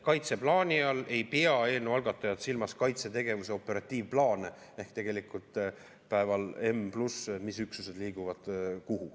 Kaitseplaani all ei pea eelnõu algatajad silmas kaitsetegevuse operatiivplaane ehk tegelikult seda, mis üksused päeval n liiguvad kuhu.